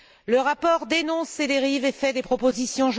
Le rapport dénonce ces dérives et fait des propositions.